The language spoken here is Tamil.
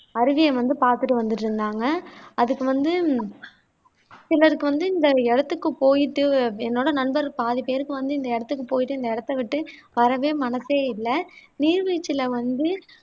அருவியை வந்து பாத்துட்டு வந்துட்டு இருந்தாங்க அதுக்கு வந்து சிலருக்கு வந்து இந்த இடத்துக்கு போயிட்டு என்னோட நண்பர் பாதி பேருக்கு வந்து இந்த இடத்துக்கு போயிட்டு இந்த இடத்தை விட்டு வரவே மனசே இல்ல நீர்வீழ்ச்சியில வந்து